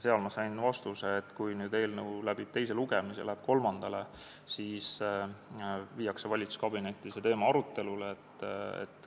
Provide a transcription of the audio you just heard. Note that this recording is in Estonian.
Ma sain vastuse, et kui eelnõu läbib teise lugemise ja läheb kolmandale lugemisele, siis viiakse see teema valitsuskabinetti arutelule.